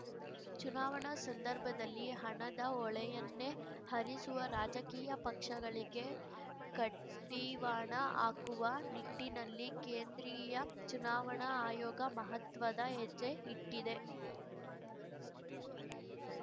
ಚುನಾವಣಾ ಸಂದರ್ಭದಲ್ಲಿ ಹಣದ ಹೊಳೆಯನ್ನೇ ಹರಿಸುವ ರಾಜಕೀಯ ಪಕ್ಷಗಳಿಗೆ ಕಡಿವಾಣ ಹಾಕುವ ನಿಟ್ಟಿನಲ್ಲಿ ಕೇಂದ್ರೀಯ ಚುನಾವಣಾ ಆಯೋಗ ಮಹತ್ವದ ಹೆಜ್ಜೆ ಇಟ್ಟಿದೆ